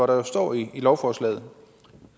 der står i lovforslaget